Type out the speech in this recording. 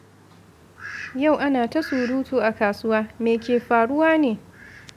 Yau ana ta surutu a kasuwa. Me ke faruwa ne?